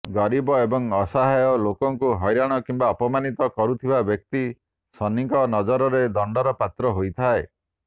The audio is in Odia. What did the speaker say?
ଗରିବ ଏବଂ ଅସହାୟ ଲୋକଙ୍କୁ ହଇରାଣ କିମ୍ବା ଅପମାନିତ କରୁଥିବା ବ୍ୟକ୍ତି ଶନିଙ୍କ ନଜରରେ ଦଣ୍ଡର ପାତ୍ର ହୋଇଥାଏ